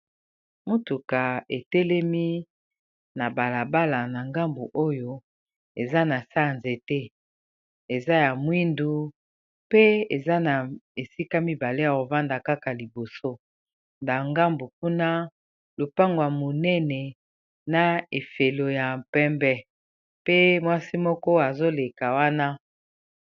motuka etelemi na balabala na ngambu oyo eza na se nanzete eza ya moindo pe eza na esika mibale ya kofanda ,kaka liboso nangambu kuna lopango monene na fololo ya pembe pe mwasi moko azoleka wana.